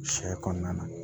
Sɛ kɔnɔna